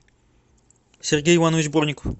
сергей иванович бурников